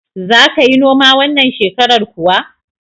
Za ka yi noma wannan shekarar kuwa?